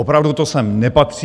Opravdu to sem nepatří.